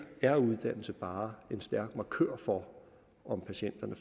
er uddannelse bare en stærk markør for om patienterne